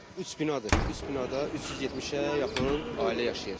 Üç binadır, üç binada 370-ə yaxın ailə yaşayır.